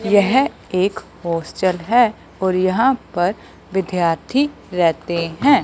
यह एक होस्टल है और यहां पर विद्यार्थी रेहते है।